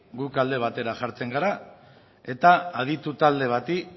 gu alde batera jartzen gara eta aditu talde bati